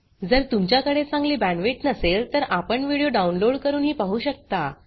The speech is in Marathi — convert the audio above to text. जर तुमच्याकडे चांगली बॅण्डविड्थ नसेल तर आपण व्हिडिओ डाउनलोड करूनही पाहू शकता